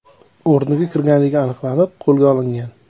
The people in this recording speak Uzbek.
o‘rniga kirganligi aniqlanib, qo‘lga olingan.